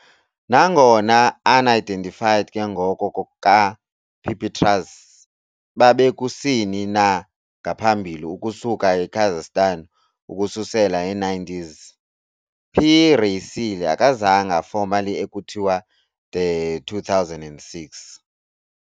Nangona unidentified ke ngoko ka - "Pipistrellus" babe kusini na ngaphambili ukusuka eKazakhstan ukususela ngee-90s, "P. raceyi" akazange formally ekuthiwa de 2006.